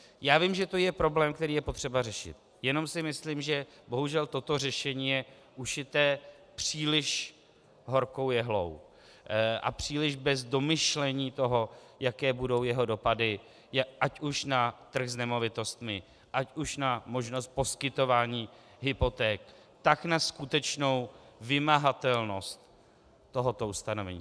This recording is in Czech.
Já vím, že to je problém, který je potřeba řešit, jenom si myslím, že bohužel toto řešení je ušité příliš horkou jehlou a příliš bez domyšlení toho, jaké budou jeho dopady ať už na trh s nemovitostmi, ať už na možnost poskytování hypoték, tak na skutečnou vymahatelnost tohoto ustanovení.